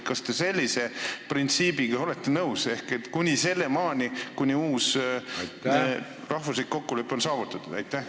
Kas te sellise printsiibiga olete nõus, sinnamaani, kuni uus rahvuslik kokkulepe on saavutatud?